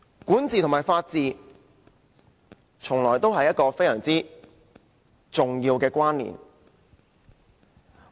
管治和法治，從來就有着非常重要的關連。